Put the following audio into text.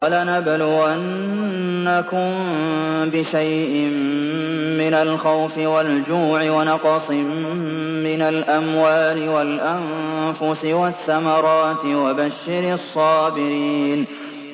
وَلَنَبْلُوَنَّكُم بِشَيْءٍ مِّنَ الْخَوْفِ وَالْجُوعِ وَنَقْصٍ مِّنَ الْأَمْوَالِ وَالْأَنفُسِ وَالثَّمَرَاتِ ۗ وَبَشِّرِ الصَّابِرِينَ